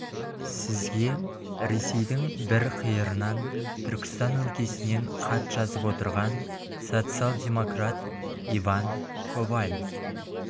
сізге ресейдің бір қиырынан түркістан өлкесінен хат жазып отырған социал-демократ иван коваль